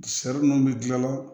minnu bɛ dilan